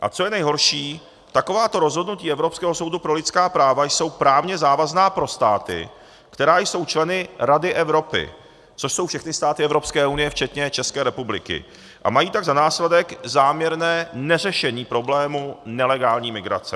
A co je nejhorší, takováto rozhodnutí Evropského soudu pro lidská práva jsou právně závazná pro státy, které jsou členy Rady Evropy, což jsou všechny státy Evropské unie včetně České republiky, a mají tak za následek záměrné neřešení problémů nelegální migrace.